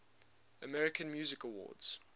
american music awards